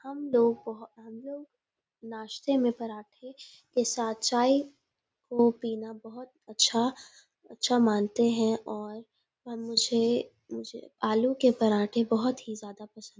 हम लोग हम लोग नास्ते में पराठे के साथ चाय को पीना बहुत अच्छा अच्छा मानते हैं और मुझे मुझे आलू के पराठे बहुत ही ज्यादा पसंद हैं |